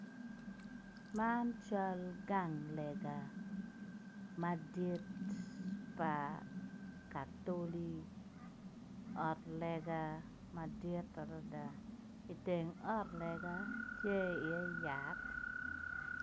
Man cal gang lega madit pa katoli ot lega madit adada i teng ot lega tye iye yat.